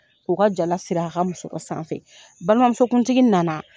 K'o ka jala siri a ka musɔrɔ sanfɛ. Balimanmusokuntigi nana